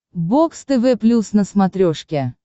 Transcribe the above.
бокс тв плюс на смотрешке